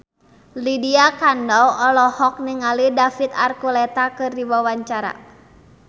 Lydia Kandou olohok ningali David Archuletta keur diwawancara